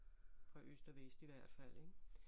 Fra øst og vest i hvert fald ik